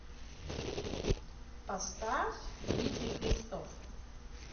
поставь дмитрий христов